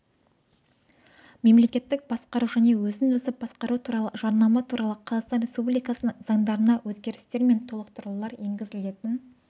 мемлекеттік басқару және өзін-өзі басқару туралы жарнама туралы қазақстан республикасының заңдарына өзгерістер мен толықтырулар енгізілетін